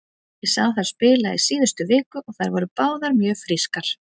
Ég sá þær spila í síðustu viku og þær voru báðar mjög frískar.